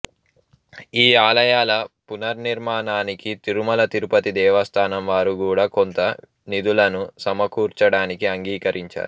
ఈ ఆలయాల పునర్నిర్మాణానికి తిరుమల తిరుపతి దేవస్థానం వారు గూడా కొంత నిధులను సమకూర్చడానికి అంగీకరించారు